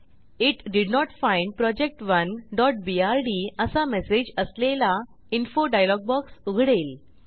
it did not find project1बीआरडी असा message असलेला इन्फो डायलॉग बॉक्स उघडेल